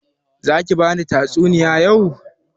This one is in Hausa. Za ki bani tatsuniya yau?